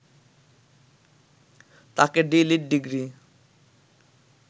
তাঁকে DLitt degree